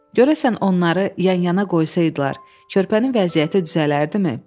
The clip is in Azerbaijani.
Görəsən onları yan-yana qoysaydılar, körpənin vəziyyəti düzələrdimi?